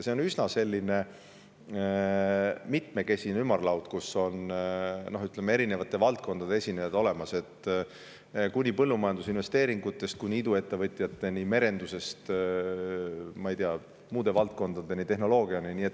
See on üsna mitmekesine ümarlaud, kus on eri valdkondade esindajad olemas, põllumajandusinvesteeringutest kuni iduettevõtjateni ja merendusest muude valdkondadeni, tehnoloogiani välja.